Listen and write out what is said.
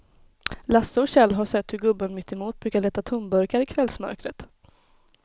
Lasse och Kjell har sett hur gubben mittemot brukar leta tomburkar i kvällsmörkret.